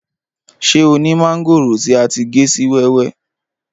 Ṣé o ni mángòrò ti a ti gé si wẹ́wẹ́?